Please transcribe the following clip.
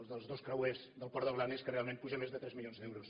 els dels dos creuers del port de blanes que realment pugen més de tres milions d’euros